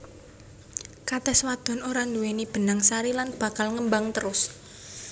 Katès wadon ora nduwèni benang sari lan bakal ngembang terus